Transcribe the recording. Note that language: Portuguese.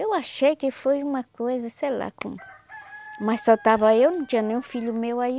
Eu achei que foi uma coisa, sei lá como, mas só estava eu, não tinha nenhum filho meu aí.